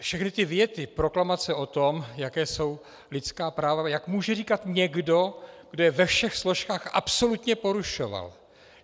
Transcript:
Všechny ty věty, proklamace o tom, jaká jsou lidská práva - jak může říkat někdo, kdo je ve všech složkách absolutně porušoval!